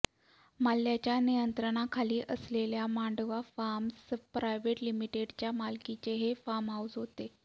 मल्ल्याच्या नियंत्रणाखाली असलेल्या मांडवा फार्म्स प्रायव्हेट लिमिटेडच्या मालकीचे हे फार्म हाऊस होते